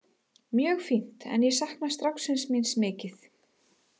Mjög fínt en ég sakna stráksins míns mikið.